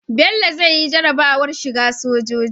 Bello zai yi jarabawar shiga sojoji